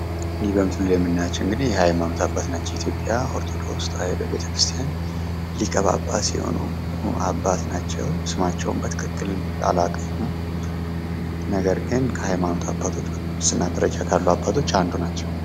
እንይ በምስሉ ላይ የምናያቸው ደግሞ የሃይማኖት አባት ናቸው ።በኢትዮጵያ ኦርቶዶክስ ተዋህዶ ቤተክርስትያን ሊቀ ጳጳስ የሆኑ አባት ናቸው ስማቸውን በትክክል አላውቀውም ነገር ግን ከሃይማኖት አባቶች በቅስና ካሉ አባቶች መካከል አንዱ ናቸው።